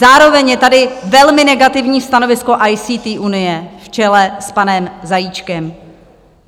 Zároveň je tady velmi negativní stanovisko ICT Unie v čele s panem Zajíčkem.